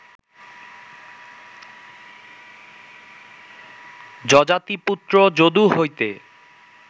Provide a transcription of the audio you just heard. যযাতিপুত্র যদু হইতে